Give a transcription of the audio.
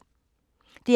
DR P2